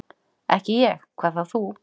"""Ekki ég, hvað þá þú."""